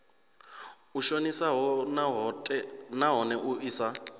i shonisaho nahone i sa